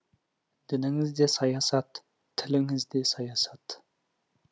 дініңіз де саясат тіліңіз де саясат